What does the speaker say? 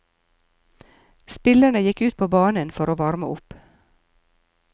Spillerne gikk ut på banen for å varme opp.